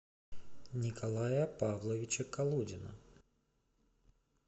николая павловича колодина